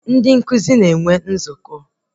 Ndị nkụzi na-enwe nzukọ